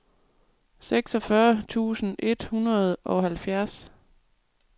seksogfyrre tusind et hundrede og halvfjerds